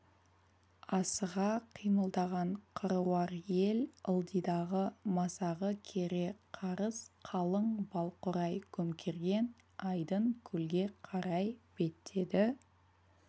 асыға қимылдаған қыруар ел ылдидағы масағы кере қарыс қалың балқурай көмкерген айдын көлге қарай беттеді